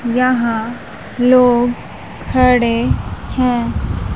यहां लोग खड़े हैं।